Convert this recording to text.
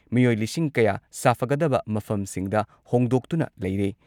ꯃꯤꯑꯣꯏ ꯂꯤꯁꯤꯡ ꯀꯌꯥ ꯁꯥꯐꯒꯗꯕ ꯃꯐꯝꯁꯤꯡꯗ ꯍꯣꯡꯗꯣꯛꯇꯨꯅ ꯂꯩꯔꯦ ꯫